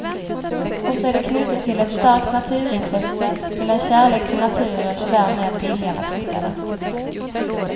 Och så är det knutet till ett starkt naturintresse, till en kärlek till naturen och därmed viljan att skydda den.